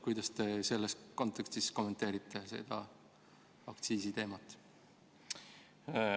Kuidas te selles kontekstis kommenteerite seda aktsiisiteemat?